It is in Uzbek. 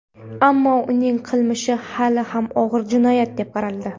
Ammo uning qilmishi hali ham og‘ir jinoyat deb qaraldi.